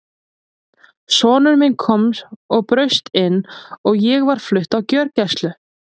Sonur minn kom og braust inn og ég var flutt á gjörgæslu.